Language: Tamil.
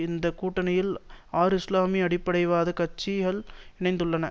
இந்த கூட்டணியில் ஆறுஇஸ்லாமிய அடிப்படைவாத கட்சிகள் இணைந்துள்ளன